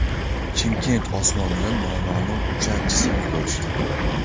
Chimkent osmonida noma’lum uchar jismni ko‘rishdi .